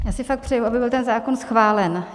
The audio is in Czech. Já si fakt přeji, aby byl ten zákon schválen.